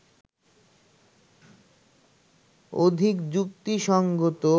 অধিক যুক্তিসংগত